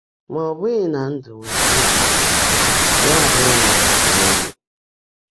Mà ọ́ bụ́ghị́ ná ndụ́ nwèrè nzúbe yá ábụ́rụ́ ná ó nwèghị́.